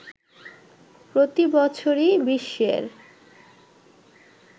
প্রতিবছরই বিশ্বের